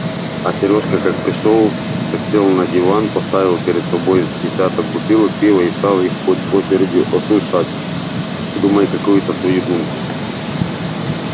а серёжка как пришёл так сел на диван поставил перед собой с десяток бутылок пива и стал их по очереди осушать думая какую-то свою думку